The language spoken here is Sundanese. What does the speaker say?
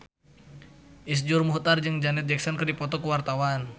Iszur Muchtar jeung Janet Jackson keur dipoto ku wartawan